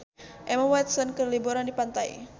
Emma Watson keur liburan di pantai